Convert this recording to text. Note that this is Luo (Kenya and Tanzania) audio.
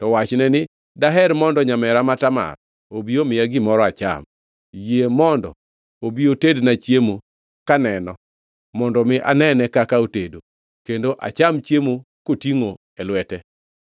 to wachne ni, ‘Daher mondo nyamera ma Tamar obi omiya gimoro acham. Yie mondo obi otedna chiemo kaneno mondo mi anene kaka otedo; kendo acham chiemo kotingʼo e lwete.’ ”